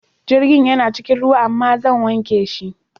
Jirgin yana cikin ruwa amma zan wanke shi.